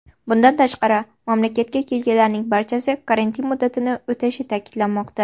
Bundan tashqari, mamlakatga kelganlarning barchasi karantin muddatini o‘tashi ta’kidlanmoqda.